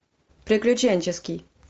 приключенческий